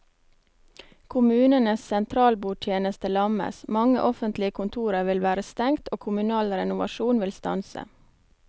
Kommunenes sentralbordtjeneste lammes, mange offentlige kontorer vil være stengt og kommunal renovasjon vil stanse.